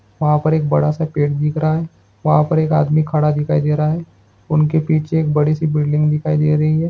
वहाँ पर एक बड़ा - सा पेड़ दिख रहा हैं वहाँ पर एक आदमी खड़ा दिखाई दे रहा हैं उनके पीठ से एक बड़ी - सी बिल्डिंग दिखाई दे रही हैं।